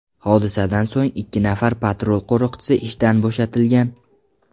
Hodisadan so‘ng ikki nafar patrul qo‘riqchisi ishdan bo‘shatilgan.